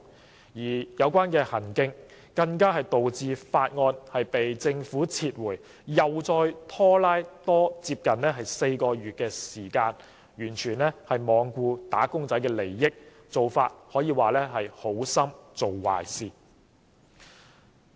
張議員的行徑更導致《條例草案》被政府撤回，又再拖延接近4個月，完全罔顧"打工仔"的利益，可說是"好心做壞事"。